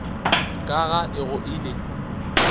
ka ga e go ile